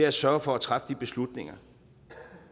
at sørge for at træffe de beslutninger